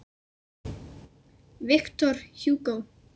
Victor Hugo